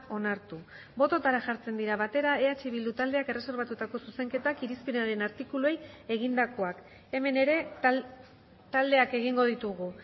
onartu bototara jartzen dira batera eh bildu taldeak erreserbatutako zuzenketak irizpenaren artikuluei egindakoak hemen ere taldeak egingo ditugu